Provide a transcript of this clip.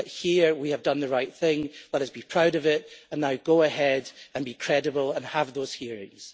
But here we have done the right thing let us be proud of it and now go ahead and be credible and have those hearings.